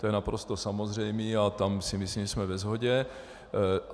To je naprosto samozřejmé a tam si myslím, že jsme ve shodě.